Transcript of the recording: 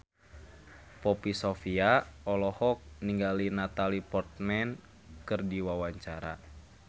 Poppy Sovia olohok ningali Natalie Portman keur diwawancara